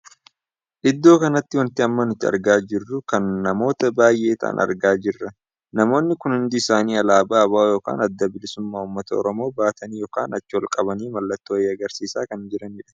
Iddoo kanatti wanti amma nuti argaa jiru kun namoota baay'ee taa'an argaa jirra. namoonni kun hundi isaanii alaabaa ABO ykn adda bilisa baasaa uummata Oromoo baatanii ykn achi ol qabanii mallattoo wayii agarsiisaa kan jiranidha.